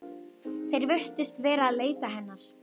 Þeir virðast vera að leita hennar.